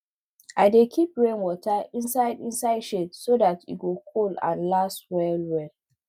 i dey keep rainwater inside inside shade so dat e go cold and last well well